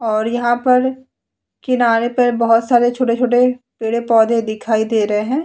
और यहां पर किनारे पर बहुत सारे छोटे-छोटे पीड़े पौधे दिखाई दे रहे हैं।